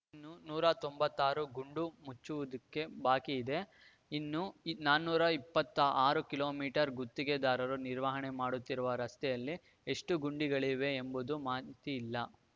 ಇನ್ನು ನೂರ ತೊಂಬತ್ತಾರು ಗುಂಡಿ ಮುಚ್ಚುವುದು ಬಾಕಿ ಇದೆ ಇನ್ನು ನಾನೂರ ಇಪ್ಪತ್ತಾ ಆರು ಕಿಲೋ ಮೀಟರ್ ಗುತ್ತಿಗೆದಾರರು ನಿರ್ವಹಣೆ ಮಾಡುತ್ತಿರುವ ರಸ್ತೆಯಲ್ಲಿ ಎಷ್ಟುಗುಂಡಿಗಳಿವೆ ಎಂಬುದು ಮಾಹಿತಿ ಇಲ್ಲ